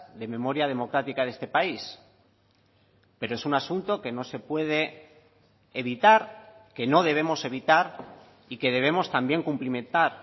de memoria democrática de este país pero es un asunto que no se puede evitar que no debemos evitar y que debemos también cumplimentar